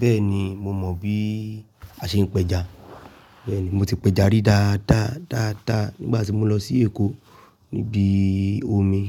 Bẹ́ẹ̀ni, mo mọ̀ bí— a ṣe ń pẹja. Bẹ́ẹ̀ni, mo ti pẹja rí dáadáa, dáadáa nígbà tí mo lọ sí Èkó —níbi omi.